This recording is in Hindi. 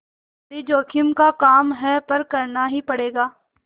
बड़ी जोखिम का काम है पर करना ही पड़ेगा